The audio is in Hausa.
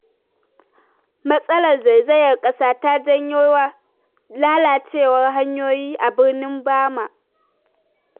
Matsalar zaizayar ƙasa ta janyo lalacewar hanyoyi a birnin Bama.